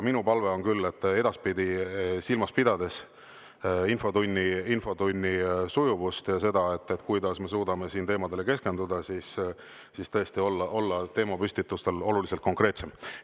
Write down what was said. Minu palve on küll edaspidi, silmas pidades infotunni sujuvust ja seda, kuidas me suudame siin teemadele keskenduda, olla tõesti oma teemapüstituses oluliselt konkreetsem.